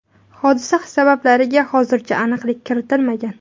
Hodisa sabablariga hozircha aniqlik kiritilmagan.